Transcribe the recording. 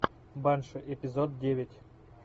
банши эпизод девять